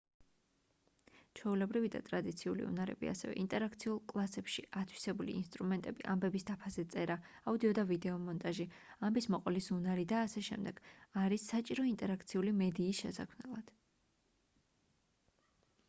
ჩვეულებრივი და ტრადიციული უნარები ასევე ინტერაქციულ კლასებში ათვისებული ინსტრუმენტები ამბების დაფაზე წერა აუდიო და ვიდეო მონტაჟი ამბის მოყოლის უნარი და აშ არის საჭირო ინტერაქციული მედიის შესაქმნელად